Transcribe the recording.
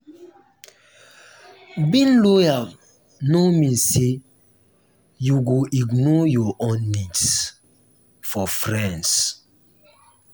being loyal no mean say you go ignore your own needs for friends.